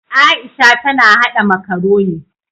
Aisha ta na haɗa makaroni.